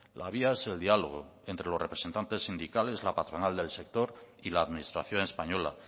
la vía es el diálogo entre los representantes sindicales la patronal del sector y la administración española